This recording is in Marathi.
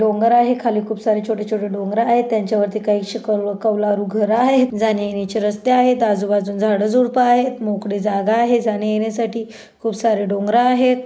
डोंगर आहे खाली खूप सारे छोटे छोटे डोंगर आहेत त्यांच्यावरती काहीशी क कौलारू घर आहेत जाण्यायेण्याची रस्ते आहेत आजूबाजूना झाड झुड्प आहेत मोकळी जागा आहे जाण्यायेण्यासाठी खुप सारे डोंगर आहेत.